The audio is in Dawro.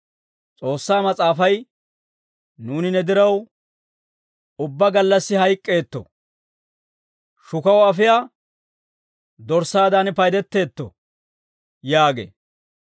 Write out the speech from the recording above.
S'oossaa Mas'aafay, «Nuuni ne diraw, ubbaa gallassi hayk'k'eetto; shukaw afiyaa dorssaadan paydetteetto» yaagee.